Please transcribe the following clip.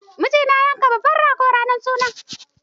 Mijinta ya yanka babban rago ranar suna.